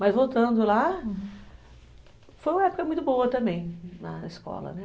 Mas voltando lá, foi uma época muito boa também na escola, né.